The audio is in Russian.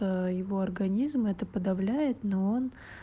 его организм это подавляет но он